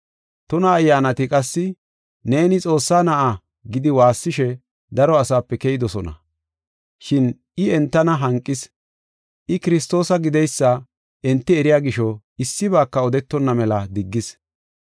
Tuna ayyaanati qassi, “Neeni, Xoossaa na7aa” gidi waassishe daro asaape keyidosona. Shin I entana hanqis. I Kiristoosa gideysa enti eriya gisho, issibaaka odetonna mela diggis.